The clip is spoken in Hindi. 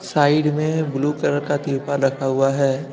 साइड में ब्लू कलर का तिरपाल रखा हुआ है।